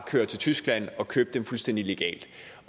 køre til tyskland og købe dem fuldstændig legalt